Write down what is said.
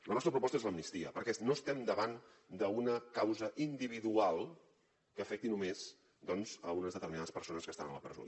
la nostra proposta és l’amnistia perquè no estem davant d’una causa individual que afecti només doncs a unes determinades persones que estan a la presó